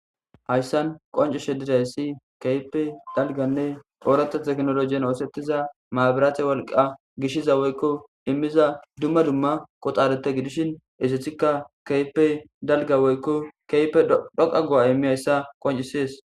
hayssan qoncu shedirayssi keype dalganne oorata teknologen oosettiza maabiraathe wolqa gishiza woykko immiza dumma dumma qoxarete gidishin ezethikka keype dalga woykko keype dhoqa go7a immi ayssa qoncisees